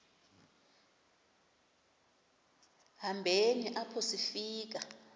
hambeni apho sifika